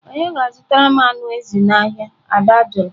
"Ònye ga-azụtara m anụ ezi n'ahịa?" Ada jụrụ